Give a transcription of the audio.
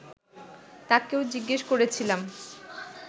তাকেও জিজ্ঞেস করেছিলাম